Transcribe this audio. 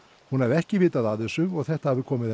hún hafi ekki vitað af þessu og þetta hafi komið